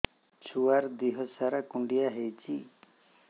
ଛୁଆର୍ ଦିହ ସାରା କୁଣ୍ଡିଆ ହେଇଚି